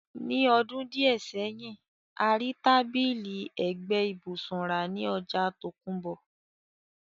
Ní àwon odún díẹ̀ sẹ́hin, a ri tábìlì ẹ́gbẹ ibùsùn ra ni ojà tòkunbọ̀